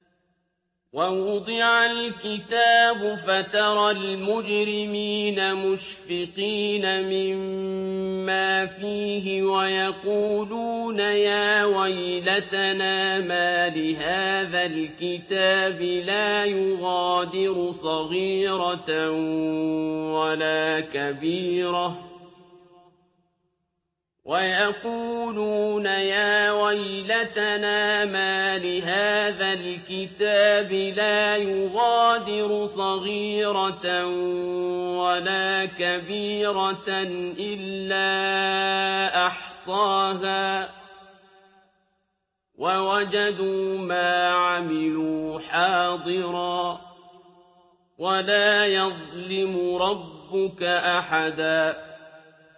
وَوُضِعَ الْكِتَابُ فَتَرَى الْمُجْرِمِينَ مُشْفِقِينَ مِمَّا فِيهِ وَيَقُولُونَ يَا وَيْلَتَنَا مَالِ هَٰذَا الْكِتَابِ لَا يُغَادِرُ صَغِيرَةً وَلَا كَبِيرَةً إِلَّا أَحْصَاهَا ۚ وَوَجَدُوا مَا عَمِلُوا حَاضِرًا ۗ وَلَا يَظْلِمُ رَبُّكَ أَحَدًا